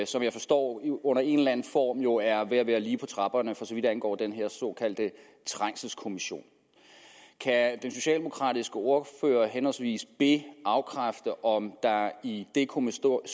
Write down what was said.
som jeg forstår under en eller anden form jo er ved at være lige på trapperne for så vidt angår den her såkaldte trængselskommission kan den socialdemokratiske ordfører henholdsvis be afkræfte om der i det kommissorium